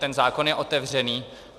Ten zákon je otevřený.